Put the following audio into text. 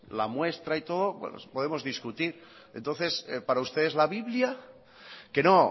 la muestra y todo bueno podemos discutir entonces para ustedes es la biblia que no